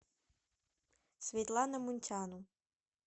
светлана мунтяну